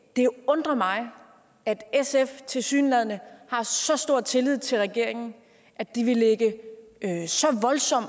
det undrer mig at sf tilsyneladende har så stor tillid til regeringen at de vil lægge